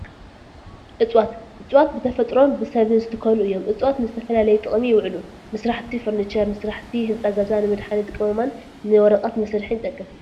እፀዋት፡- እፀዋት ብተፈጥሮን ብሰብ ዝትከሉ እዮም፡፡ እፀዋት ንዝተፈላለየ ጥቅሚ ይውዑሉ፡፡ ንስራሕቲ ፈርኒቸር፣ ንስራሕቲ ህንፃ ገዛ፣ ንመድሓኒት ቅመማን ንወረቐት መስርሕ ይጠቅም፡፡